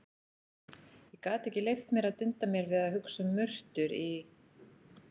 Ég gat ekki leyft mér að dunda mér við að hugsa um murtur í